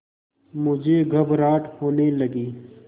मुझे घबराहट होने लगी